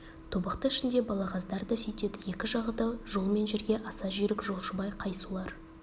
тобықты ішінде балағаздар да сүйтеді екі жағы да жол мен жерге аса жүйрік жолшыбай қай сулар